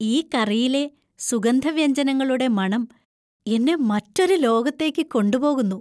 ഈ കറിയിലെ സുഗന്ധവ്യഞ്ജനങ്ങളുടെ മണം എന്നെ മറ്റൊരു ലോകത്തേക്ക് കൊണ്ടുപോകുന്നു.